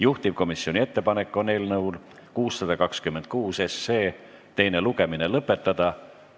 Juhtivkomisjoni ettepanek on eelnõu 626 teine lugemine lõpetada.